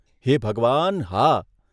હે ભગવાન! હા.